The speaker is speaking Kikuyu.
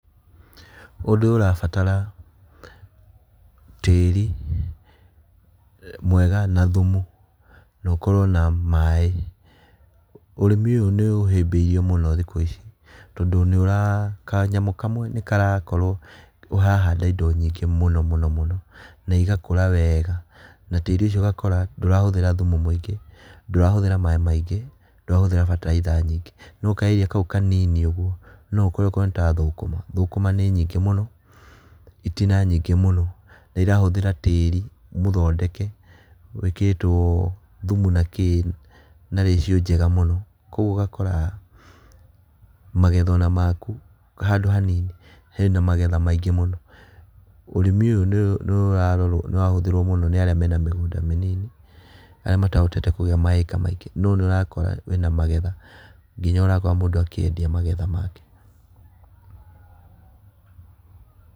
Ũndu ũyũ ũrabatara, tĩri, mwega na thumu na ũkorwo na maaĩ, ũrĩmi ũyũ nĩ ũhĩmbĩirio mũno thikũ ici. Tondũ nĩ wa kanyamu kamwe nĩ karakorwo nĩ ũrahanda indo nyingĩ muno mũno mũno na igakũra wega, na tiri ucio ugakora ndũrahũthĩra thumu mũingĩ, ndũrahũthĩra maaĩ maingĩ ndũrahũthĩra bataraitha nyingĩ. No kaĩria kau kanini ũguo no ũkore akorwo nĩ ta thũkũma, thũkũma nĩ nyingĩ mũno, itina nyingĩ mũno na irahũthĩra tĩri mũthondeke wikĩrĩtwo thumu na kĩĩ na ratio njega muno. Koguo ũgakora, magetha ona maku handũ ona hanini hena magetha maingĩ mũno. Ũrĩmi ũyũ nĩ ũra ũrahũthirwo mũno nĩ arĩa mena mĩgũnda mĩnini arĩa matahotete kũgĩa maika maingĩ. No nĩ ũrakora wĩna magetha nginya ũrakora akĩendia magetha make.